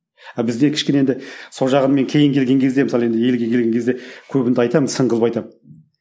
ал бізде кішкене енді сол жағын мен кейін келген кезде мысалы енді елге келген кезде көбінде айтамын сын қылып айтамын